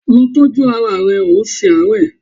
Lọ tọ́jú ara ẹ, ò ń ṣe àárẹ̀!